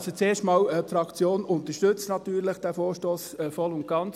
Also, zuerst einmal: Die Fraktion unterstützt natürlich diesen Vorstoss voll und ganz.